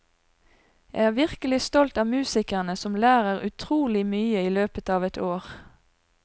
Jeg er virkelig stolt av musikerne, som lærer utrolig mye i løpet av et år.